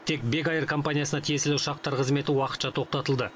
тек бек эйр компаниясына тиесілі ұшақтар қызметі уақытша тоқтатылды